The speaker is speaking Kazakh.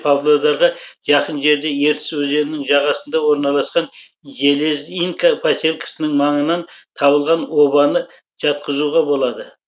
павлодарға жақын жерде ертіс өзенінің жағасына орналасқан железинка поселкесінің маңынан табылған обаны жатқызуға болады